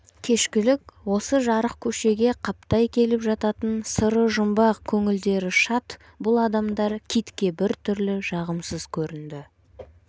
кешкілік осы жарық көшеге қаптай келіп жататын сыры жұмбақ көңілдері шат бұл адамдар китке бір түрлі жағымсыз көрінді